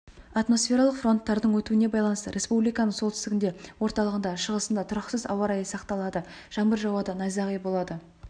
атмосфералық фронттардың өтуіне байланысты республиканың солтүстігінде орталығында шығысында тұрақсыз ауа райы сақталады жаңбыр жауады найзағай болады